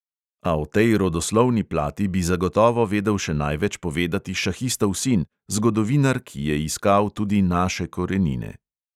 A o tej rodoslovni plati bi zagotovo vedel še največ povedati šahistov sin, zgodovinar, ki je iskal tudi naše korenine.